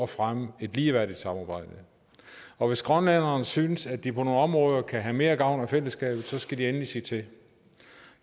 fremme et ligeværdigt samarbejde og hvis grønlænderne synes at de på nogle områder kan have mere gavn af fællesskabet så skal de endelig sige til